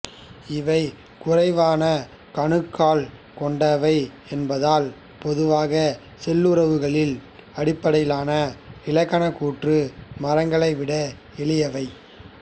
இவை குறைவான கணுக்கள் கொண்டவை என்பதால் பொதுவாக சொல்லுறவுகளின் அடிப்படையிலான இலக்கணகூற்று மரங்களை விட எளியவை